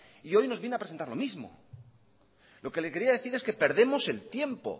y hoy nos viene a presentar lo mismo lo que le quería decir es que perdemos el tiempo